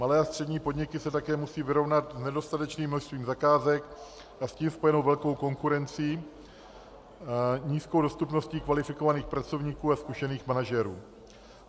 Malé a střední podniky se také musí vyrovnat s nedostatečným množstvím zakázek a s tím spojenou velkou konkurencí, nízkou dostupností kvalifikovaných pracovníků a zkušených manažerů.